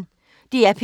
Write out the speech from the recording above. DR P1